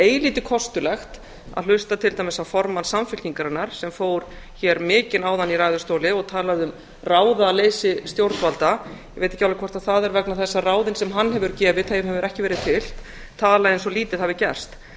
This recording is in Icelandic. eilítið kostulegt að hlusta til dæmis á formann samfylkingarinnar sem fór hér mikinn áðan í ræðustóli og talaði um ráðaleysi stjórnvalda ég veit ekki alveg hvort það er að ráðin sem hann hefur gefið hafi ekki verið fylgt tala eins og lítið hafi gerst það